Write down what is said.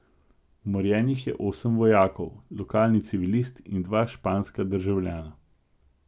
Umorjenih je osem vojakov, lokalni civilist in dva španska državljana.